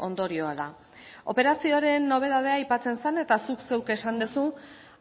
ondorioa da operazioaren nobedadea aipatzen zen eta zuk zeuk esan duzu